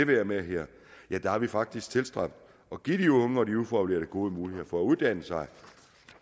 være med her faktisk tilstræbt at give de unge og de ufaglærte gode muligheder for at uddanne sig